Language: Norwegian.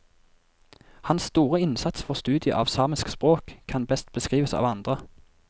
Hans store innsats for studiet av samisk språk kan best beskrives av andre.